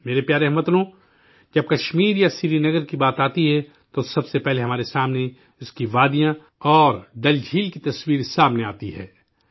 میرے پیارے ہم وطنو، جب کشمیر یا سرینگر کی بات ہوتی ہے، تو سب سے پہلے ہمارے سامنے اس کی وادیاں اور ڈل جھیل کی تصویر آتی ہے